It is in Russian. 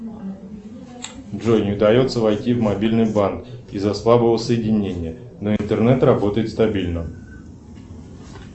джой не удается войти в мобильный банк из за слабого соединения но интернет работает стабильно